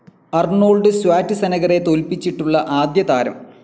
Arnold സ്വാറ്റ്സെനഗറെ തോൽപ്പിച്ചിട്ടുള്ള ആദ്യതാരം